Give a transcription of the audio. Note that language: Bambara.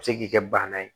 A bɛ se k'i kɛ bana ye